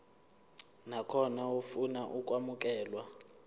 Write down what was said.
nakhona ofuna ukwamukelwa